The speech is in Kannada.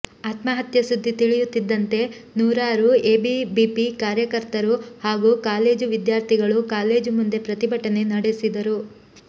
ಆತ್ಮಹತ್ಯೆ ಸುದ್ದಿ ತಿಳಿಯುತ್ತಿದ್ದಂತೆ ನೂರಾರು ಎಬಿವಿಪಿ ಕಾರ್ಯಕರ್ತರು ಹಾಗೂ ಕಾಲೇಜು ವಿದ್ಯಾರ್ಥಿಗಳು ಕಾಲೇಜು ಮುಂದೆ ಪ್ರತಿಭಟನೆ ನಡೆಸಿದರು